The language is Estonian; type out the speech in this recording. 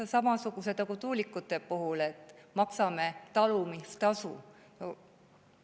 Kas samasugused nagu tuulikute puhul, et maksame talumistasu?